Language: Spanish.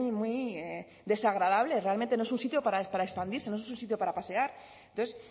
muy desagradable realmente no es un sitio para expandirse no es un sitio para pasear entonces